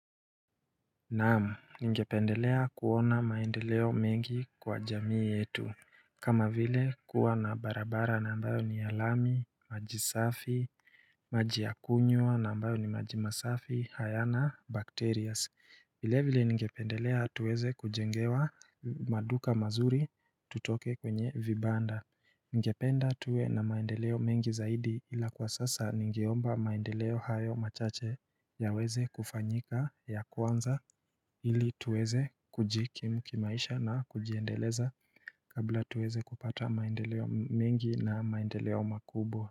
Naam, ningependelea kuona maendeleo mengi kwa jamii yetu. Kama vile kuwa na barabara na ambayo ni ya lami, maji safi, maji ya kunywa na ambayo ni maji masafi, hayana, bacterias. Vilevile ningependelea tuweze kujengewa maduka mazuri tutoke kwenye vibanda. Ningependa tuwe na maendeleo mengi zaidi ila kwa sasa ningeomba maendeleo hayo machache yaweze kufanyika ya kwanza ili tuweze kujikimu kimaisha na kujiendeleza kabla tuweze kupata maendeleo mengi na maendeleo makubwa.